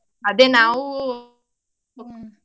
ಅದೇ ನಾವು. ಹ್ಮ.